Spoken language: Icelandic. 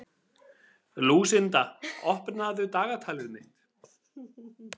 Lúsinda, opnaðu dagatalið mitt.